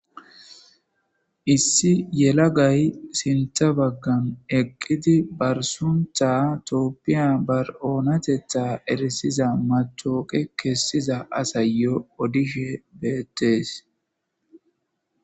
Issi yelagay sintha baggan eqqidi barsuntha tooppiya bar'oonatetha eresiza matooqe kessiza asayyo odishe beettees.